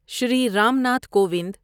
Shri Ram Nath Kovind